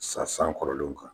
sa san kɔrɔlenw kan.